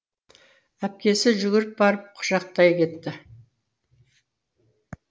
әпкесі жүгіріп барып құшақтай кетті